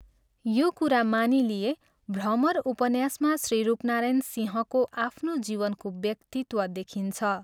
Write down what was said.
यो कुरा मानिलिए भ्रमर उपन्यासमा श्री रूपनारायण सिंहको आफ्नो जीवनको व्यक्तित्व देखिन्छ।